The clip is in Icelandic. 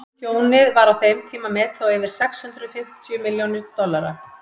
tjónið var á þeim tíma metið á yfir sex hundruð fimmtíu milljón dollara